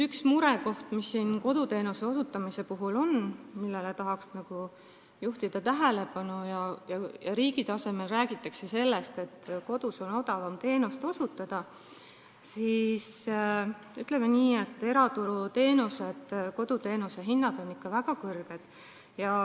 Üks murekoht, mis koduteenuste osutamisel on ja millele tahaks tähelepanu juhtida, on see, et kui riigi tasemel räägitakse sellest, et kodus on odavam teenust osutada, siis, ütleme nii, eraturul on teenuste hinnad koduteenuste osutamisel ikka väga kõrged.